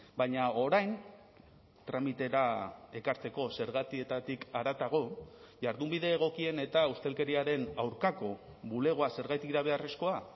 baina orain tramitera ekartzeko zergatietatik haratago jardunbide egokien eta ustelkeriaren aurkako bulegoa zergatik da beharrezkoa